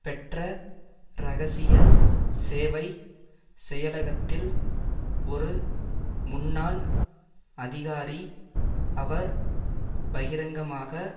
பெற்ற இரகசிய சேவை செயலகத்தில் ஒரு முன்னாள் அதிகாரி அவர் பகிரங்கமாக